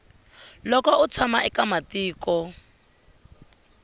loko u tshama eka matiko